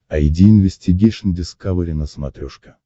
айди инвестигейшн дискавери на смотрешке